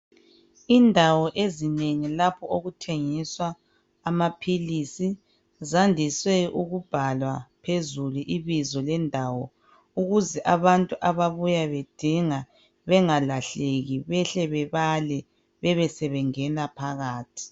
Indawo ezinengi lapho okuthengiswa amaphilisi zandise ukubhalwa phezulu ibizo lendawo ukuze abantu ababuya bethenga bengalahleki behle bebale besebengena phakathi.